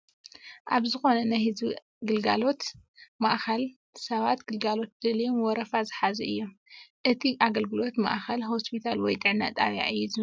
ኣብ ዝኾነ ናይ ህዝቢ ኣገልግሎት ማእኸል ሰባት ግልጋሎት ደልዮም ወረፋ ዝሓዙ እዮም ፡ እቲ ኣገልግሎት ማእኸል ሆስፒታል ወይ ጥዕና ጣብያ እዩ ዝመስል ።